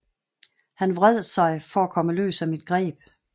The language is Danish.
Han vred sig for at komme løs af mit greb